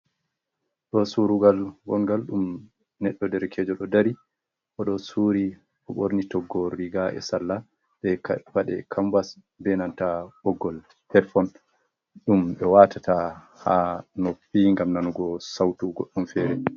Ɗo surungal golgal nda ɗum neɗɗo derekejol ɗo dari oɗo suri ko borni toggowol riga’e salla, be paɗe kambas benanta ɓoggol helefon, ɗum ɓe watata ha noppi ngam nanugo sautugoɗɗo ɗum fereni.